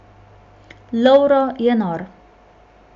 Lovro je nor.